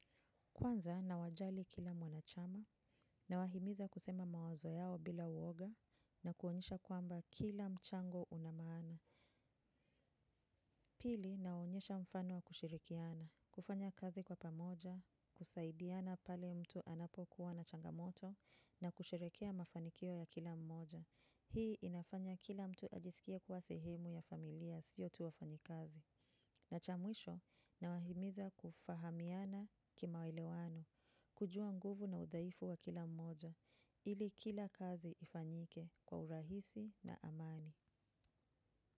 Kwanza nawajali kila mwanachama nawahimiza kusema mawazo yao bila uoga na kuonyesha kwamba kila mchango una maana. Pili naonyesha mfano wa kushirikiana, kufanya kazi kwa pamoja, kusaidiana pale mtu anapo kuwa na changamoto na kusherehekea mafanikio ya kila mmoja. Hii inafanya kila mtu ajisikie kuwa sehemu ya familia sio tu wafanyikazi. Na cha mwisho na wahimiza kufahamiana kimaelewano, kujua nguvu na udhaifu wa kila mmoja, ili kila kazi ifanyike kwa urahisi na amani.